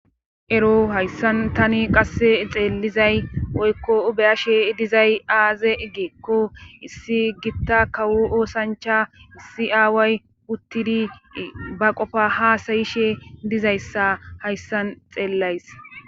ero hayssan tani qasse xeelizay woykko beyashe dizay aaze eggeekko issi gitta kawu oosancha issi aaway uttidi ba qofa hasayishe dizayssa hayssan xeellays